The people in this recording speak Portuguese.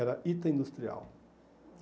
Era Ita Industrial.